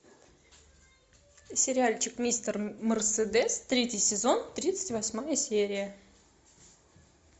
сериальчик мистер мерседес третий сезон тридцать восьмая серия